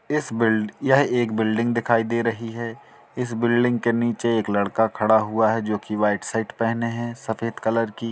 इस बिल्ड यह एक बिल्डिंग दिखाई रही हैं इस बिल्डिंग के नीचे एक लड़का खड़ा हुआ है जो की वाइट शर्ट पहने है सफ़ेद कलर की।